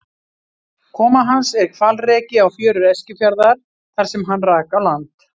Koma hans er hvalreki á fjörur Eskifjarðar þar sem hann rak á land.